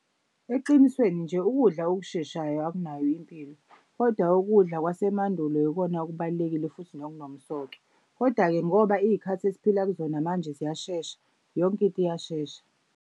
Eqinisweni nje ukudla okusheshayo akunayo impilo, kodwa ukudla kwasemandulo yikona okubalulekile futhi nokunomsoco. Koda-ke ngoba iy'khathi esiphila kuzona manje ziyashesha yonke into iyashesha.